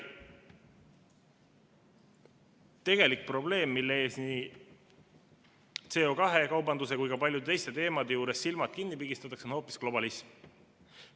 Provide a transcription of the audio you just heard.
Tegelik probleem, mille ees nii CO2 kaubanduse kui ka paljude teiste teemade juures silmad kinni pigistatakse, on hoopis globalism.